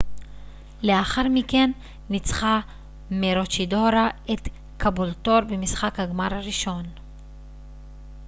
לאחר מכן ניצחה מרוצ'ידורה את קאבולטור במשחק הגמר הראשון